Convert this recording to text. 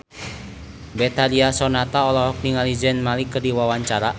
Betharia Sonata olohok ningali Zayn Malik keur diwawancara